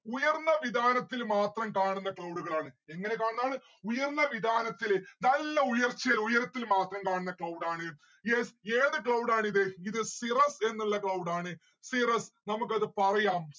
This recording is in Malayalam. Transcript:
ഉയർന്ന വിധാനത്തില് മാത്രം കാണുന്ന cloud ആണ്. എങ്ങനെ കാണുന്നതാണ്? ഉയർന്ന വിധാനത്തില് നല്ല ഉയർച്ചയിൽ ഉയരത്തില് മാത്രം കാണുന്ന cloud ആണ് yes ഏത് cloud ആണിത്? ഇത് cirrus എന്നിള്ള cloud ആണ്. cirrus നമുക്കത് പറയാം